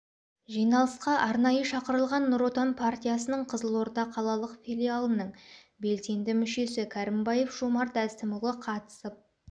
жиналысқа арнайы шақырылған нұр отан партиясының қызылорда қалалық филиалының белсенді мүшесі кәрімбаев жомарт әсімұлы қатысып